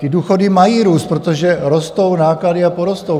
Ty důchody mají růst, protože rostou náklady a porostou.